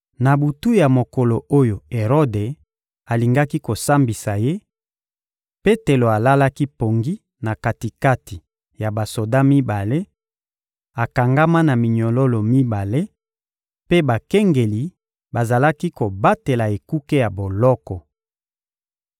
Na butu ya mokolo oyo Erode alingaki kosambisa ye, Petelo alalaki pongi na kati-kati ya basoda mibale, akangama na minyololo mibale, mpe bakengeli bazalaki kobatela ekuke ya boloko.